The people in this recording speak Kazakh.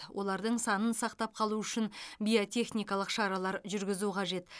олардың санын сақтап қалу үшін биотехникалық шаралар жүргізу қажет